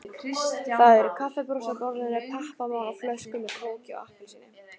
Það eru kaffibrúsar á borðinu, pappamál og flöskur með kóki og appelsíni.